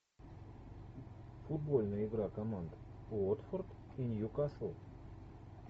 футбольная игра команд уотфорд и ньюкасл